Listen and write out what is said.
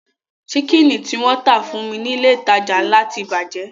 Ṣíkìnì tí wọ́n tà fún mi ní ilé ìtajà ńlá ti bàjẹ́